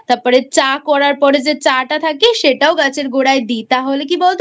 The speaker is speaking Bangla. তারপরে চা করার পরে যে চা টা থাকে সেটাও গাছের গোড়ায় দি তাহলে কি বলতো